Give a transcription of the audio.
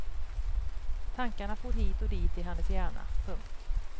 Tankarna for hit och dit i hennes hjärna. punkt